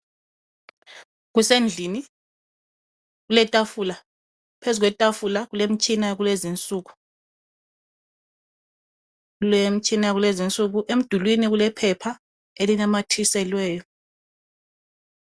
Kusendlini kuletafula phezu kwetafula kulemtshina yakulezinsuku, kulemtshina yakulezinsuku emdulini kulephepha elinamathiselweyo.